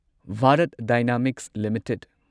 Bharat Dynamics limited